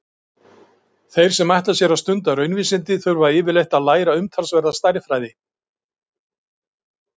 Þeir sem ætla sér að stunda raunvísindi þurfa yfirleitt að læra umtalsverða stærðfræði.